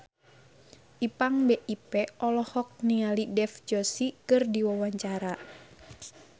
Ipank BIP olohok ningali Dev Joshi keur diwawancara